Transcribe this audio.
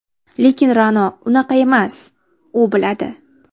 Lekin Ra’no unaqa emas, u biladi.